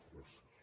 gràcies